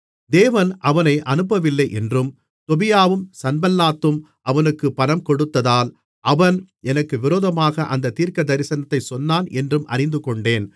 தேவன் அவனை அனுப்பவில்லையென்றும் தொபியாவும் சன்பல்லாத்தும் அவனுக்குக் பணம்கொடுத்ததால் அவன் எனக்கு விரோதமாக அந்தத் தீர்க்கதரிசனத்தைச் சொன்னான் என்றும் அறிந்துகொண்டேன்